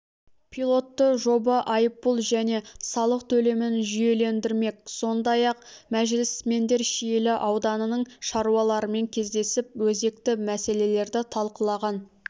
пилотты жоба айыппұл және салық төлемін жүйелендірмек сондай-ақ мәжілісмендер шиелі ауданының шаруаларымен кездесіп өзекті мәселерді талқылаған